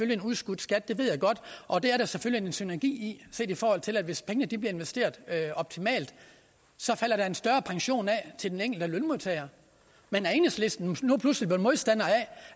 det en udskudt skat det ved jeg godt og det er der selvfølgelig en synergi i set i forhold til at hvis pengene bliver investeret optimalt så falder der en større pension af til den enkelte lønmodtager men er enhedslisten nu pludselig blevet modstandere af